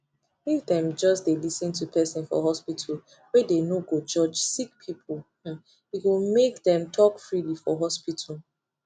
if them just dey lis ten to person for hospitalwey dey no go judge sick people hmmme go make dem talk freely for hospital